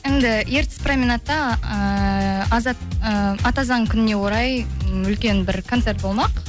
енді ертіс променадта ііі і ата заң күніне орай үлкен бір концерт болмақ